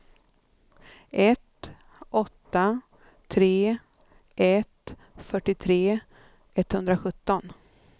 ett åtta tre ett fyrtiotre etthundrasjutton